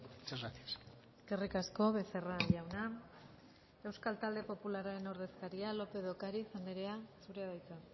muchas gracias eskerrik asko becerra jauna euskal talde popularraren ordezkaria lópez de ocariz andrea zurea da hitza